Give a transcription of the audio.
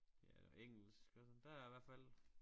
Ja eller engelsk altså der er hvert fald